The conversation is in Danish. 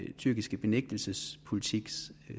tyrkiske benægtelsespolitiks